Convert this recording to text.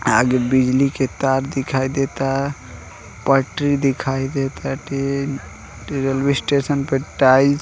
द आगे बिजली के तार दिखाई देता पटरी दिखाई देताटे रेलवे स्टेशन पे टाइल्स --